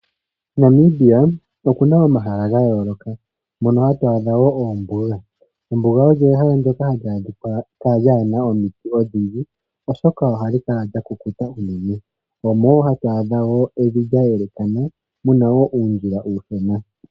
Namibia okuna omahala ga yooloka mono hatu adha oombuga. Ombuga olyo ehala ndyoka aantu hali adhika kwana omiti odhindji oshoka ohali kala lya kukuta nohatu adhamo evi lyayelakano muna uundjila uushona.